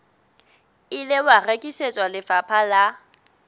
ile wa rekisetswa lefapha la